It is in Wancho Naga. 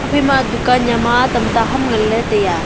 haphai ma dukan yama tamta ham ngan ley taiya.